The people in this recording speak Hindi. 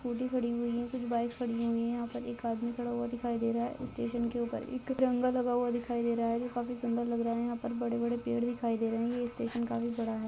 कुछ स्कूटी खड़ी हुई कुछ बाइक्स खड़ी हुई है यहाँ पे एक आदमी खड़ा हुआ दिखाई दे रहा है स्टेशन के ऊपर एक जंगा लगा हुआ दिखाई दे रहा है ये काफी सुंदर लगा रहा है यहाँ पर बड़े बड़े पेड़ दिखाई दे रहा है ये स्टेशन काफी बड़ा है।